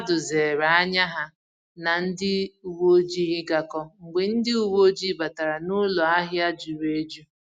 Ndi mmadụ zere ànyà ha na ndị uwe ojii ịgakọ mgbe ndị uwe oji batara n'ụlọ ahịa juru eju